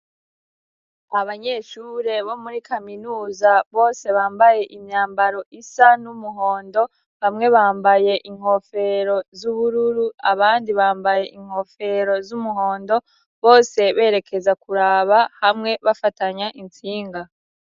Abanyeshure bo muri kaminuza bose bambaye imyambaro isa n'umuhondo. Bamwe bambaye inkofero z'ubururu, abandi bambaye inkofero z'umuhondo. Bose berekeza kuraba hamwe bafatanya intsinga.